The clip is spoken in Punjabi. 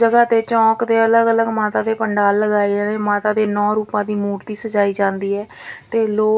ਜਗਹਾ ਤੇ ਚੌਂਕ ਦੇ ਅਲਗ ਅਲਗ ਮਾਤਾ ਦੇ ਪੰਡਾਲ ਲਗਾਏ ਜਾਂਦੇ ਮਾਤਾ ਦੇ ਨੌ ਰੂਪਾਂ ਦੀ ਮੂਰਤੀ ਸਜਾਈ ਜਾਂਦੀ ਹੈ ਤੇ ਲੋਕ।